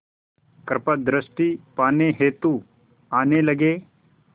कृपा दृष्टि पाने हेतु आने लगे